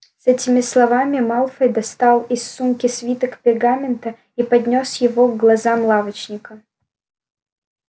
с этими словами малфой достал из сумки свиток пергамента и поднёс его к глазам лавочника